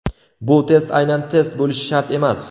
Bu test aynan test bo‘lishi shart emas.